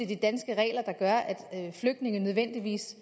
de danske regler der gør at flygtninge nødvendigvis